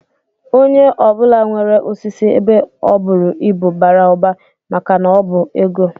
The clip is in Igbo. Onye ọ bụla nwere osisi ebe o buru ibu bara ụba maka na ọ bụ ego